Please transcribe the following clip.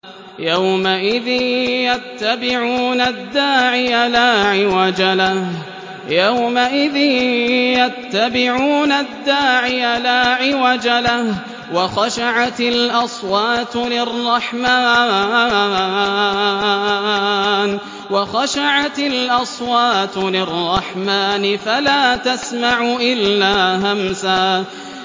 يَوْمَئِذٍ يَتَّبِعُونَ الدَّاعِيَ لَا عِوَجَ لَهُ ۖ وَخَشَعَتِ الْأَصْوَاتُ لِلرَّحْمَٰنِ فَلَا تَسْمَعُ إِلَّا هَمْسًا